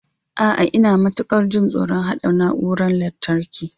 A'a, Ina matukar jin tsoron haɗa na'urorin lantarki.